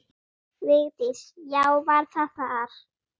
Vigdís: Já, var það þar.